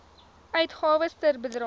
uitgawes ter bedrae